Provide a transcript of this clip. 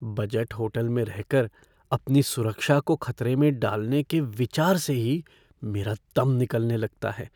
Budget hotel में रहकर अपनी सुरक्षा को ख़तरे में डालने के विचार से ही मेरा दम निकलने लगता है।